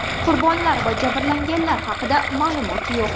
Qurbonlar va jabrlanganlar haqida ma’lumot yo‘q.